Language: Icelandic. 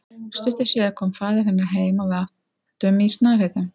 Stuttu síðar kom faðir hennar heim og við átum í snarheitum.